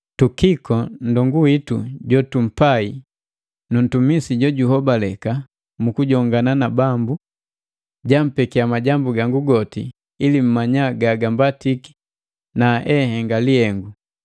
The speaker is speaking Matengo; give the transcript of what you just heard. Tukiko, nndongu witu jotumpai nu ntumisi jojunhobaleka mu kujongana na Bambu, jampekiya majambu gangu goti ili mmanya gagambatiki na enhenga lihengu.